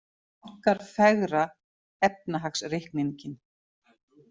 Bankar fegra efnahagsreikninginn